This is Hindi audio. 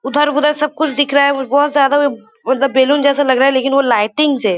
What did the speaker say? उधर उधर सब कुछ दिख रहा है। बहोत ज्यादा उब मतलब बेलून जैसा लग रहा है। लेकिन वो लाइटिंग्स है।